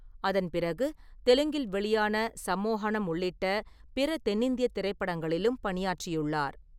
அதன் பிறகு தெலுங்கில் வெளியான சம்மோஹனம் உள்ளிட்ட பிற தென்னிந்தியத் திரைப்படங்களிலும் பணியாற்றியுள்ளார்.